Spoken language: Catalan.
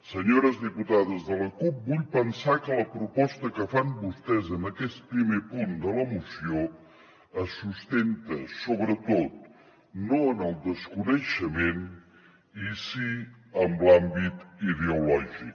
senyores diputades de la cup vull pensar que la proposta que fan vostès en aquest primer punt de la moció es sustenta sobretot no en el desconeixement i sí en l’àmbit ideològic